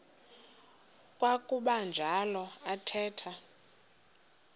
kwakuba njalo athetha